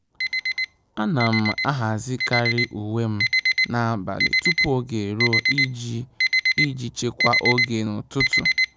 À nà m àhàzị́karị uwe m n’ábàlị̀ tupu ógè érúọ iji iji chekwaa oge n’ụ́tụ́tụ́.